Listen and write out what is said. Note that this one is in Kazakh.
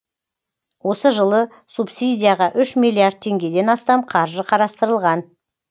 осы жылы субсидияға үш миллиард теңгеден астам қаржы қарастырылған